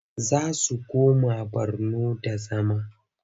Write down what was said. Za su koma Borno da zama.